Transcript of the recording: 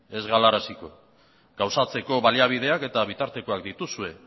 ez gauzatzeko baliabideak eta bitartekoak dituzue